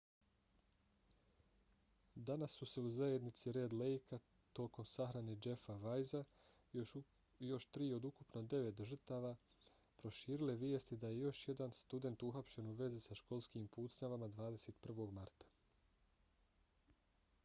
danas su se u zajednici red lejka tokom sahrane jeffa weisea i još tri od ukupno devet žrtava proširile vijesti da je još jedan student uhapšen u vezi sa školskim pucnjavama 21. marta